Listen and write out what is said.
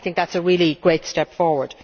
I think that is a really great step forward.